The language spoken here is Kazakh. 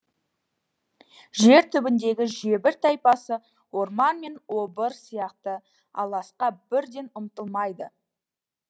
жер түбіндегі жебір тайпасы орман мен обыр сияқты аласқа бірден ұмтылмайды